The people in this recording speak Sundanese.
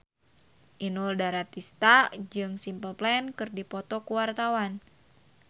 Inul Daratista jeung Simple Plan keur dipoto ku wartawan